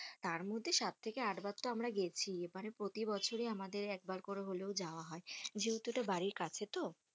তার মধ্যে সাত থেকে আট বার তো আমরা গেছি এবারে প্রতি বছরই আমাদের একবার করে হলেই যাওয়া হয়, যেহেতু ইটা বাড়ির কাছে তো,